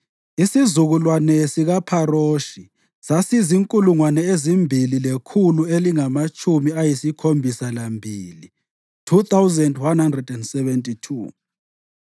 isizukulwane sikaPharoshi sasizinkulungwane ezimbili lekhulu elilamatshumi ayisikhombisa lambili (2,172),